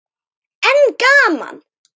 En gaman!